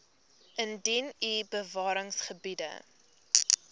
indien u bewaringsgebiede